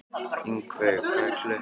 Ingiveig, hvað er klukkan?